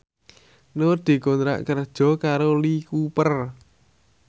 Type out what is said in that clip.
Nur dikontrak kerja karo Lee Cooper